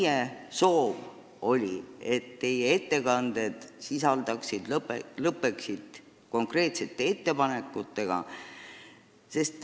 Meie soov oli, et teie ettekanded lõppeksid konkreetsete ettepanekutega.